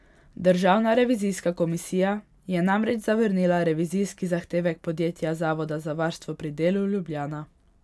Državna revizijska komisija je namreč zavrnila revizijski zahtevek podjetja Zavod za varstvo pri delu Ljubljana.